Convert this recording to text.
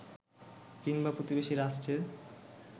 কিংবা প্রতিবেশী রাষ্ট্রের